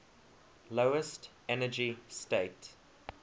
lowest energy state